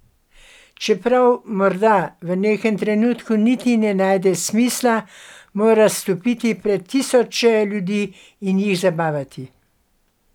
Čeprav morda v nekem trenutku niti ne najde smisla, mora stopiti pred tisoče ljudi in jih zabavati.